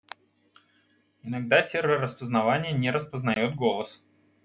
иногда сервер распознавания не распознает голос